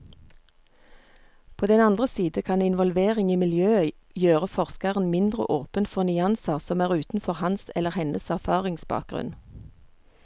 På den andre side kan involvering i miljøet gjøre forskeren mindre åpen for nyanser som er utenfor hans eller hennes erfaringsbakgrunn.